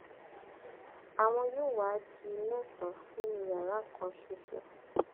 àwọn yóò wáá di di mẹsànán nínú yàrá kan ṣoṣo